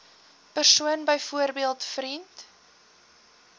persoon byvoorbeeld vriend